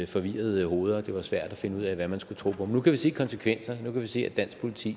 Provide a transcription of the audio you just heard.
forvirrede hoveder og det var svært at finde ud af hvad man skulle tro på men nu kan vi se konsekvenserne nu kan vi se at dansk politi